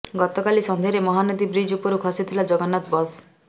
ଗତକାଲି ସନ୍ଧ୍ୟାରେ ମହାନଦୀ ବ୍ରିଜ ଉପରୁ ଖସିଥିଲା ଜଗନ୍ନାଥ ବସ୍